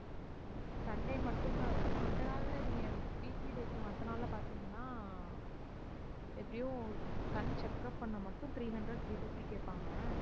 sunday மட்டும் தான் இது. மத்த நாள்ல நீங்க weekly days ல மத்த நாள்ல பார்தீங்கன்னா எப்படியும் கண் checkup பண்ண மட்டும் three hundred, three fifty கேட்பாங்க.